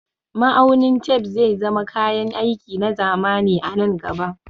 Ma'aunin tef zai zama kayan aiki na zamani a nan gaba